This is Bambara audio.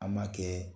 An ma kɛ